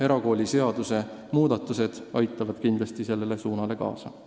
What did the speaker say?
Erakooliseaduse muudatused aitavad kindlasti sellele suunale kaasa.